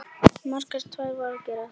Margt var að gerast.